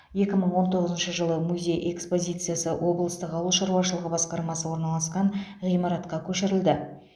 екі мың он тоғызыншы жылы музей экспозициясы облыстық ауыл шаруашылығы басқармасы орналасқан ғимаратқа көшірілді